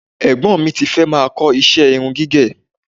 Ẹ̀gbọ́n mi ti fẹ́ máa kọ iṣẹ́ irun gígẹ̀